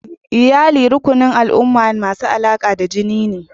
Iyalli rukunin mutane masu alaƙa da jini ne.